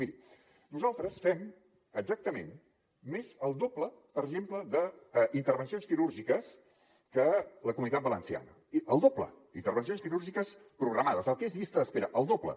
miri nosaltres fem exactament més del doble per exemple d’intervencions quirúrgiques que la comunitat valenciana el doble d’intervencions quirúrgiques programades el que és llista d’espera el doble